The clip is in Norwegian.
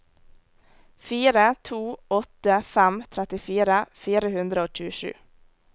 fire to åtte fem trettifire fire hundre og tjuesju